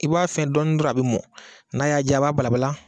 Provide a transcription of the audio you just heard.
I b'a fɛn dɔɔni dɔrɔn a bɛ mɔn, n'a y'a diya a b'a balabala.